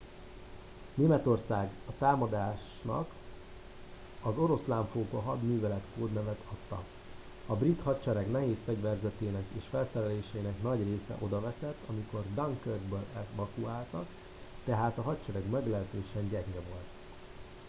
németország a támadásnak az oroszlánfóka hadművelet kódnevet adta a brit hadsereg nehézfegyverzetének és felszereléseinek nagy része odaveszett amikor dunkirkből evakuáltak tehát a hadsereg meglehetősen gyenge volt